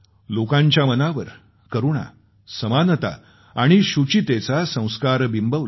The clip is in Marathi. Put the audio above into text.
लोकांच्या मनावर करुणा समानता आणि शूचितेचा संस्कार बिंबवला